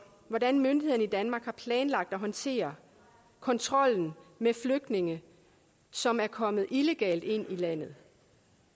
hvordan myndighederne i danmark har planlagt at håndtere kontrollen med flygtninge som er kommet illegalt ind i landet